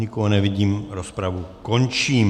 Nikoho nevidím, rozpravu končím.